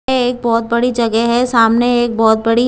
एक बहुत बड़ी जगह है सामने एक बहुत बड़ी--